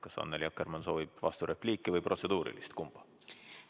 Kas Annely Akkermann soovib vasturepliiki või protseduurilist märkust teha?